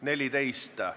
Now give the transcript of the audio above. Istungi lõpp kell 10.04.